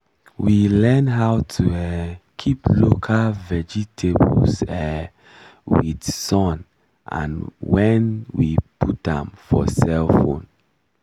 we learn how to um keep local vegetables um with sun and when we put am for cellphone